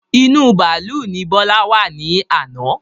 Inú bàálú ni Bọlá wá ní àná.